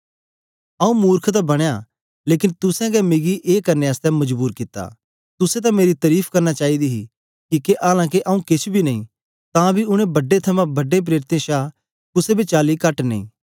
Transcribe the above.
आंऊँ मुर्ख तां बनया लेकन तुसें गै मिकी ए करने आसतै मजबूर कित्ता तुसें तां मेरी तरीफ करना चाईदी दी ही किके आलां के आंऊँ केछ बी नेई तां बी उनै बड्डें थमां बड्डें प्रेरितें शा कुसे बी चाली कट नेई